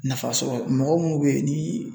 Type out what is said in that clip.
Nafa sɔrɔ mɔgɔ mun be ye ni